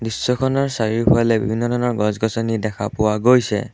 দৃশ্যখনৰ চাৰিওফালে বিভিন্ন ধৰণৰ গছ-গছনি দেখা পোৱা গৈছে।